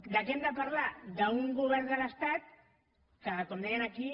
de què hem de parlar d’un govern de l’estat que com deien aquí